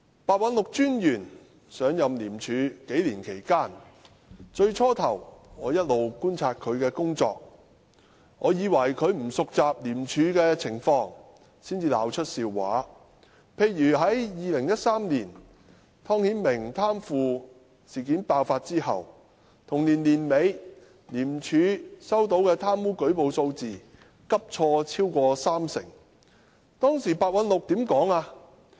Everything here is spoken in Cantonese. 白韞六專員在廉署上任數年，起初我一直觀察他的工作，我以為他不熟習廉署的情況才鬧出笑話，例如在2013年湯顯明貪腐事件爆發之後，同年年尾廉署收到的貪污舉報數字急挫超過三成，當時白韞六怎樣說呢？